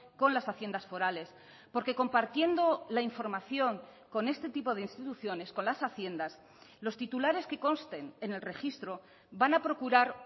con las haciendas forales porque compartiendo la información con este tipo de instituciones con las haciendas los titulares que consten en el registro van a procurar